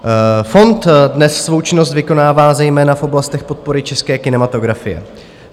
Fond dnes svou činnost vykonává zejména v oblastech podpory české kinematografie.